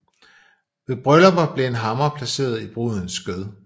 Ved bryllupper blev en hammer placeret i brudens skød